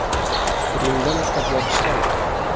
Rimda maktablar ishlamaydi.